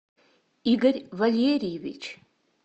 игорь валерьевич